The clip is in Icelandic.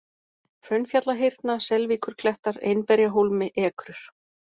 Hraunfjallahyrna, Selvíkurklettar, Einberjahólmi, Ekrur